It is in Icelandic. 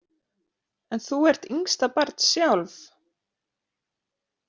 En þú ert yngsta barn sjálf?